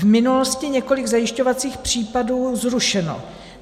V minulosti několik zajišťovacích případů zrušeno.